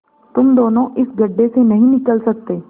तुम दोनों इस गढ्ढे से नहीं निकल सकते